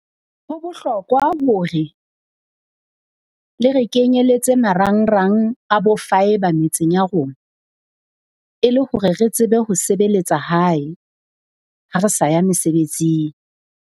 Ho bohlokwa hore le re kenyeletse marangrang a bo Fibre metseng ya rona. E le hore re tsebe ho sebeletsa hae ha re sa ya mesebetsing.